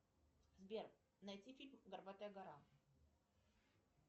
сбер найти фильм горбатая гора